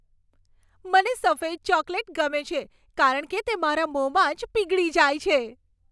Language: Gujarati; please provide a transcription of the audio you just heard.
મને સફેદ ચોકલેટ ગમે છે કારણ કે તે મારા મોંમાં જ પીગળી જાય છે.